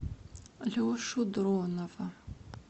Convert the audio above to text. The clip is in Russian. лешу дронова